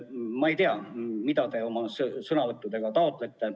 Ma ei tea, mida te oma sõnavõttudega taotlete.